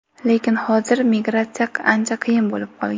Lekin hozir migratsiya ancha qiyin bo‘lib qolgan.